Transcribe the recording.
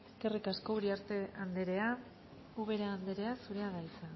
eskerrik asko uriarte andrea ubera andrea zurea da hitza